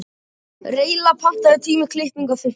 Reyla, pantaðu tíma í klippingu á fimmtudaginn.